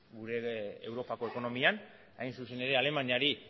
gure europako ekonomian hain zuzen ere alemaniari